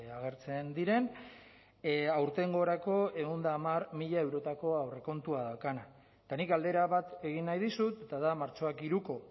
agertzen diren aurtengorako ehun eta hamar mila eurotako aurrekontua daukana eta nik galdera bat egin nahi dizut eta da martxoak hiruko